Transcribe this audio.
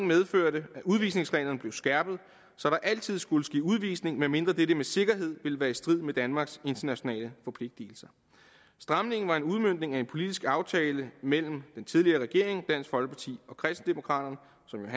medførte at udvisningsreglerne blev skærpet så der altid skulle ske udvisning medmindre dette med sikkerhed ville være i strid med danmarks internationale forpligtelser stramningen var en udmøntning af en politisk aftale mellem den tidligere regering dansk folkeparti og kristendemokraterne